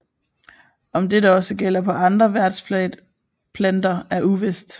Om dette også gælder på andre værtsplanter er uvist